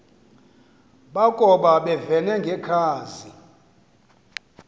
bakoba bevene ngekhazi